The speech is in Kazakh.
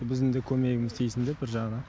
біздің де көмегіміз тисін деп бір жағынан